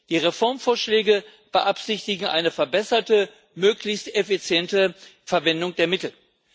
Die Reformvorschläge beabsichtigen eine verbesserte, möglichst effiziente Verwendung der Mittel.